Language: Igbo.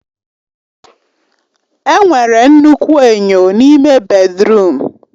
Enwere nnukwu enyo n'ime bèdrụm.